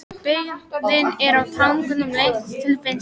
Byggðin er á tanganum lengst til vinstri.